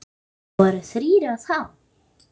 Það voru þrír á þá?